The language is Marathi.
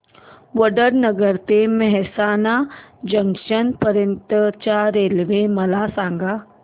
वडनगर ते मेहसाणा जंक्शन पर्यंत च्या रेल्वे मला सांगा